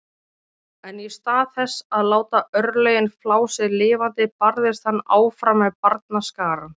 En í stað þess að láta örlögin flá sig lifandi barðist hann áfram með barnaskarann.